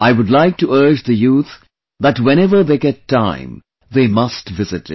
I would like to urge the youth that whenever they get time, they must visit it